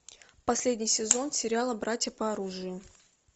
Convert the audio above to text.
последний сезон сериала братья по оружию